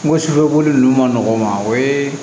N ko boli nunnu ma nɔgɔn o ye